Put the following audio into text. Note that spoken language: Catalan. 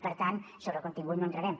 per tant sobre el contingut no hi entrarem